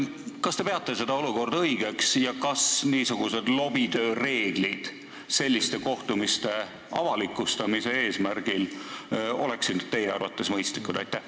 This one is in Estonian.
Kas te peate sellist olukorda õigeks ja kas lobitöö reeglid selliste kohtumiste avalikustamise eesmärgil oleksid teie arvates mõistlikud?